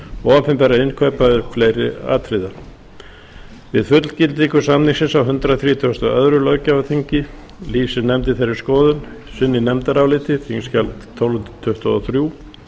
og opinberra innkaupa auk fleiri atriða við fullgildingu samningsins á hundrað þrítugasta og öðrum löggjafarþingi lýsti nefndin þeirri skoðun sinni í nefndaráliti þingskjali tólf hundruð tuttugu og þrjú